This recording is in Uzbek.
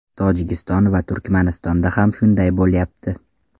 Tojikiston va Turkmanistonda ham shunday bo‘lyapti”.